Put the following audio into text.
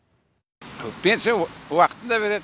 пенсия уақытында береді